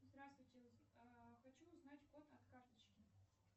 здравствуйте хочу узнать код от карточки